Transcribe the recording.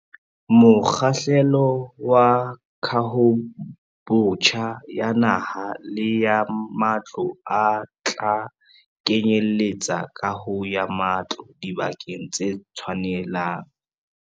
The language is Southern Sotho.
Mokgahlelo wa kahobotjha ya naha le ya matlo o tla kenyeletsa kaho ya matlo dibakeng tse tshwanelang.